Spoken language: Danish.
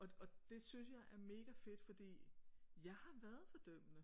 Og det det synes jeg er mega fedt fordi jeg har været fordømmende